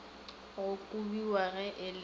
go kobiwa ge e le